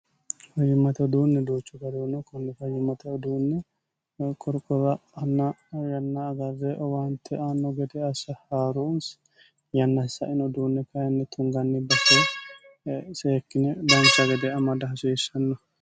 fajimmate uduunni doochu garihuno kunni fajimmate uduunne qorqowa ann yanna agarre owaante anno gede assa harunsi yannahissain uduunne kyinni tunganni batee seekkine lansa gede amada hasiishshanno